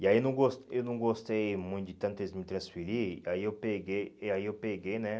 E aí eu não gos eu não gostei muito de tanto eles me transferir, aí eu peguei, e aí eu peguei né?